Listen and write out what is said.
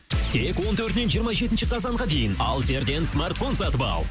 тек он төртінен жиырма жетінші қазанға дейін алсерден смартфон сатып ал